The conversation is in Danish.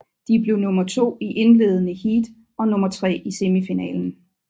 De blev nummer to i indledende heat og nummer tre i semifinalen